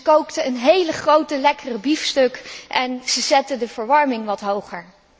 Zij kookte een heel grote lekkere biefstuk en zij zette de verwarming wat hoger.